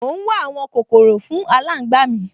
Mò ún wá àwọn kòkòrò fún aláǹgbá mi